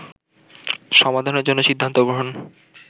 সমাধানের জন্য সিদ্ধান্ত গ্রহণ